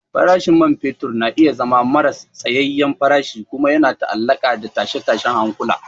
Farashin man fetur na iya zama maras tsayayyen farashi kuma yana ta'allaƙa da tashe-tashen hankula.